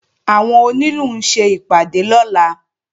Àwọn onílù ń ṣe ìpàdé lọ́la